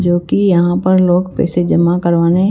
जो कि यहां पर लोग पैसे जमा करवाने --